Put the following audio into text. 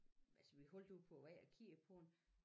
Altså vi holdt jo på æ vej og kiggede på den